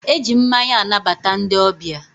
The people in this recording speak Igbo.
e ji mmanya anabata ndị ọbịa.